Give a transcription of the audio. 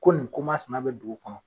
Ko nin ko masina bɛ dugu kɔnɔ.